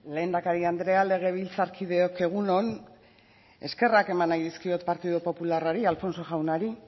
lehendakari andrea legebiltzarkideok egun on eskerrak eman nahi dizkiot partido popularrari alfonso jaunari